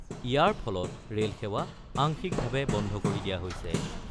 ইয়াৰ ফলত ৰেলসেৱা আংশিকভাৱে বন্ধ কৰি দিয়া হৈছে।